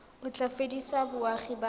o tla fedisa boagi ba